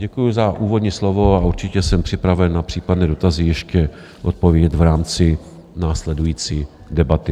Děkuji za úvodní slovo a určitě jsem připraven na případné dotazy ještě odpovědět v rámci následující debaty.